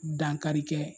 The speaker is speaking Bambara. Dankari kɛ